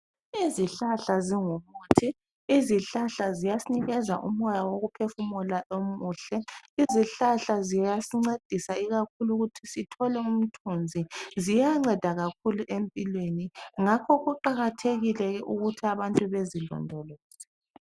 Izihlahla zingumuthi. Izihlahla ziyasinikeza umoya wokuphefumula omuhle. Izihlahla ziyasincedisa ikakhulu ukuthi sithole umthunzi. Ziyanceda kakhulu empilweni ngakho kuqakathekile ukuthi abantu bezilondoloze.